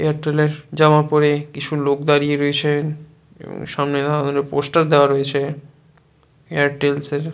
Airtel এর জামা পরে কিছু লোক দাঁড়িয়ে রয়েছে মনে দেখা গেলো পোস্টার দেয়া রয়েছে এয়ারটেল এস এর।